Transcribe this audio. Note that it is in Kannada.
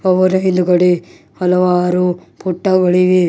ಅವರು ಇದು ಕೂಡ ಹಲವಾರು ಪುಟ್ಟಗಳಿವೆ.